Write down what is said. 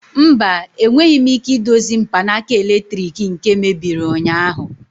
Mba, enweghị m ike idozi mkpanaka eletrik nke mebiri ụnyaahụ.